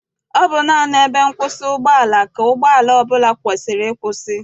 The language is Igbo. Ọ bụ naanị ebe nkwụsị ụgbọala ka ụgbọala ọbụla kwesiri ịkwụsị.